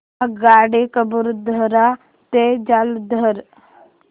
आगगाडी कपूरथला ते जालंधर